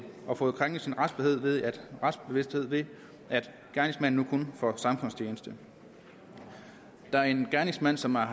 og fået krænket sin retsbevidsthed ved at gerningsmanden kun får samfundstjeneste der er en gerningsmand som har